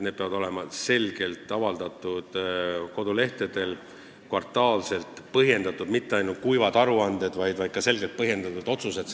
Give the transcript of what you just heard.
Need peavad olema kvartaalselt kodulehtedel avaldatud ja need ei tohi olla ainult kuivad aruanded – juures peavad olema ka selgelt põhjendatud otsused.